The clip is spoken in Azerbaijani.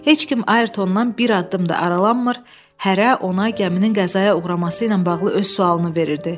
Heç kim Ayrtondan bir addım da aralanmır, hərə ona gəminin qəzaya uğraması ilə bağlı öz sualını verirdi.